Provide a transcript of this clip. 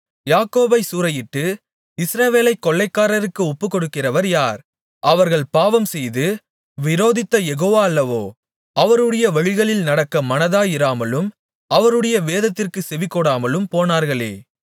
யாக்கோபைச் சூறையிட்டு இஸ்ரவேலைக் கொள்ளைக்காரருக்கு ஒப்புக்கொடுக்கிறவர் யார் அவர்கள் பாவம்செய்து விரோதித்த யெகோவா அல்லவோ அவருடைய வழிகளில் நடக்க மனதாயிராமலும் அவருடைய வேதத்திற்குச் செவிகொடாமலும் போனார்களே